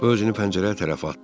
Özünü pəncərəyə tərəfə atdı.